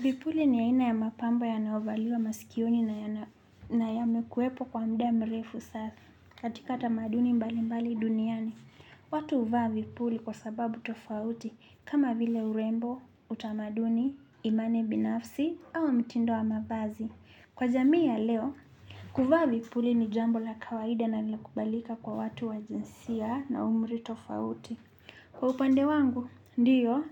Vipuli ni aina ya mapambo yanaovaliwa masikioni na yamekuwepo kwa muda mrefu sasa katika tamaduni mbali mbali duniani. Watu huvaa vipuli kwa sababu tofauti kama vile urembo, utamaduni, imani binafsi au mitindo wa mavazi. Kwa jamii ya leo, kuvaa vipuli ni jambo la kawaida na linakubalika kwa watu wa jinsia na umri tofauti. Kwa upande wangu, ndiyo,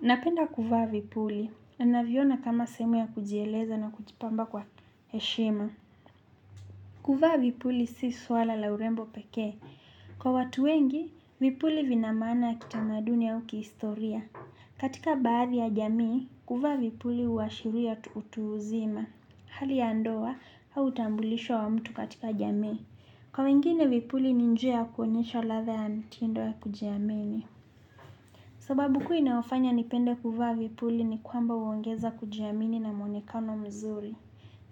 napenda kuvaa vipuli na naviona kama sehemu ya kujieleza na kujipamba kwa heshima. Kuvaa vipuli si swala la urembo peke. Kwa watu wengi, vipuli vina maana ya kitamaduni ya au kihistoria. Katika baadhi ya jamii, kuvaa vipuli huwashiria utu uzima. Hali ya ndoa, au utambulisho wa mtu katika jamii. Kwa wengine vipuli ni njia ya kuonyesha ladha ya mtindo ya kujiamini. Sababu kuu inaofanya nipende kuvaa vipuli ni kwamba huongeza kujiamini na mwonekano mzuri.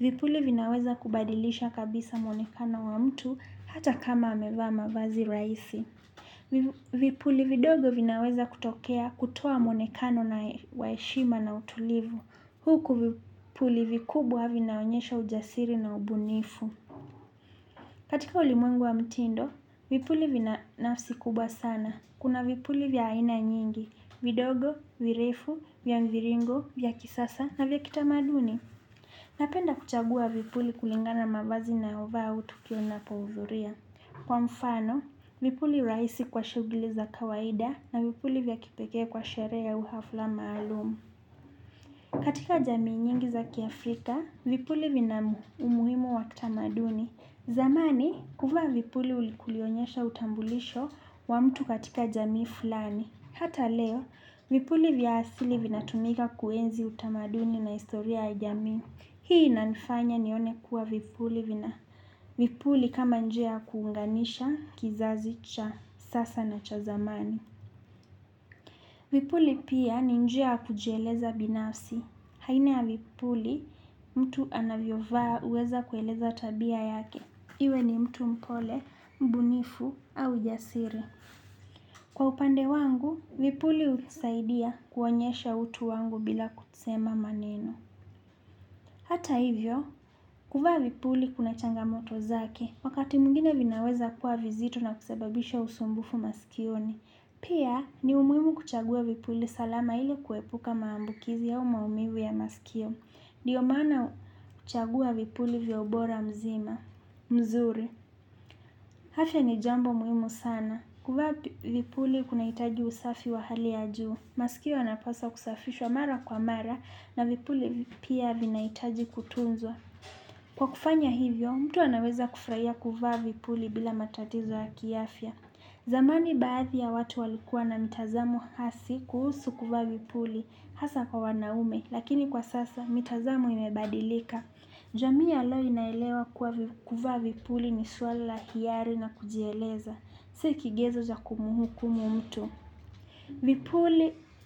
Vipuli vinaweza kubadilisha kabisa mwonekano wa mtu hata kama amevaa mavazi rahisi. Vipuli vidogo vinaweza kutokea kutoa mwonekano na wa heshima na utulivu. Huku vipuli vikubwa vinaonyesha ujasiri na ubunifu. Katika ulimwengu wa mtindo, vipuli vina nafsi kubwa sana. Kuna vipuli vya aina nyingi, vidogo, virefu, vya mviringo, vya kisasa na vya kitamaduni. Napenda kuchagua vipuli kulingana mavazi nayovaa au tukio napohudhuria. Kwa mfano, vipuli rahisi kwa shughuli za kawaida na vipuli vya kipekee kwa sherehe au hafla maalumu. Katika jami nyingi za kiafrika, vipuli vina umuhimu wa kitamaduni. Zamani, kuvaa vipuli kulionyesha utambulisho wa mtu katika jamii fulani. Hata leo, vipuli vya asili vina tumika kuenzi utamaduni na historia ya jamii. Hii inanifanya nione kuwa vipuli vina vipuli kama njia kuunganisha, kizazi cha, sasa na cha zamani. Vipuli pia ni njia ya kujieleza binafsi. Aina ya vipuli, mtu anavyovaa huweza kueleza tabia yake. Iwe ni mtu mpole, mbunifu au jasiri. Kwa upande wangu, vipuli husaidia kuonyesha utu wangu bila kusema maneno. Hata hivyo, kuvaa vipuli kuna changamoto zake. Wakati mwingine vinaweza kuwa vizito na kusababisha usumbufu maskioni. Pia, ni umuhimu kuchagua vipuli salama ili kuepuka maambukizi au maumivu u ya maskio. Ndiyo maana kuchagua vipuli vya ubora mzima, mzuri. Afya ni jambo muhimu sana. Kuvaa vipuli kunahitaji usafi wa hali ya juu. Masikio yanapaswa kusafishwa mara kwa mara na vipuli pia vinahitaji kutunzwa. Kwa kufanya hivyo, mtu anaweza kufurahia kuvaa vipuli bila matatizo ya kiafya. Zamani baadhi ya watu walikua na mitazamo hasi kuhusu kuvaa vipuli hasa kwa wanaume, lakini kwa sasa mitazamo imebadilika. Jamii ya leo inaelewa kuwa kuvaa vipuli ni suala hiari na kujieleza. Si kigezo cha kumuhukumu mtu.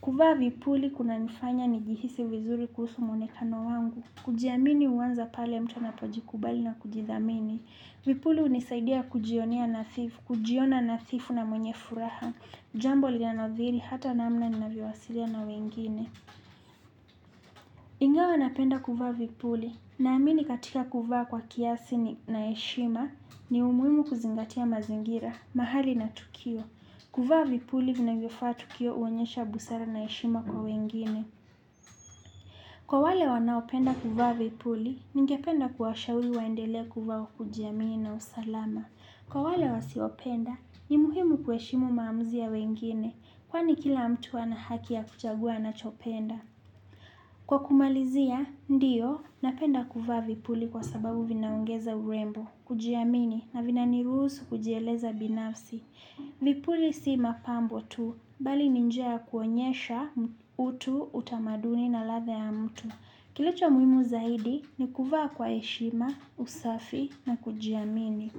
Kuvaa vipuli kuna nifanya ni jihisi vizuri kuhusu muonekano wangu. Kujiamini huanza pale mtu anapojikubali na kujithamini. Vipuli hunisaidia kujionea nadhifu, kujiona nadhifu na mwenye furaha. Jambo linolo niadhiri hata namna ninavyowasilia na wengine. Ingawa napenda kuvaa vipuli. Naamini katika kuvaa kwa kiasi na jeshima ni umuhimu kuzingatia mazingira mahali na tukio. Kuvaa vipuli vinavyofaa tukio huonyesha busara na heshima kwa wengine. Kwa wale wanaopenda kuvaa vipuli, ningependa kuwashawi waendelee kuvaa kujiamini na usalama. Kwa wale wasiopenda, ni muhimu kuheshimu maamuzi ya wengine. Kwani kila mtu ana haki ya kuchagua anachopenda. Kwa kumalizia, ndiyo, napenda kuvaa vipuli kwa sababu vinaongeza urembo, kujiamini, na vina niruhusu kujieleza binafsi. Vipuli si mapambo tu, bali ni njia ya kuonyesha utu, utamaduni na ladha ya mtu. Kilicho muhimu zaidi, ni kuvaa kwa heshima, usafi na kujiamini.